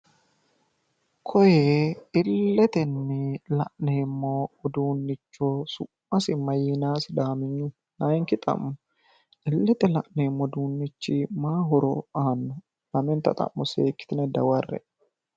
Koye illete la'neemmo udduunniha su'mmasi maayiinayi? laayinki xa'mo illete la'neemmo uduunnichi mayi horo aanno? lamenta seekkitine dawarre'e.